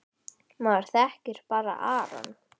Maður þekkir bara Aron.